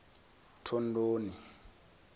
thondoni